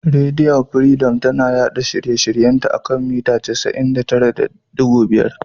Rediyo firidom tana yaɗa shirye shiryen ta a kan mita 99.5.